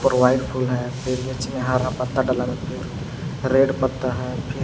White फूल है हारा पत्ता डाला फिर रेड पत्ता है फिर।